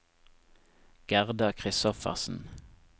Gerda Kristoffersen